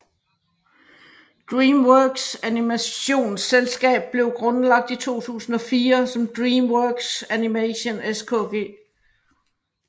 DreamWorks animationsselskab blev grundlagt i 2004 som DreamWorks Animation SKG